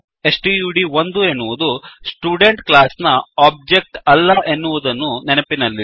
ಸ್ಟಡ್1 ಎನ್ನುವುದು student class ನ object ಅಲ್ಲ ಎನ್ನುವುದನ್ನು ನೆನಪಿನಲ್ಲಿಡಿ